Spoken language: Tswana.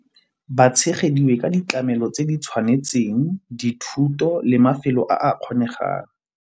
Ba tshegeditswe ka ditlamelo tse di tshwanetseng dithuto le mafelo a kgonegang.